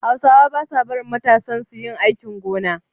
Hausawa ba sa barin matansu yi aikin gona.